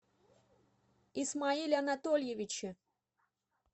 исмаиле анатольевиче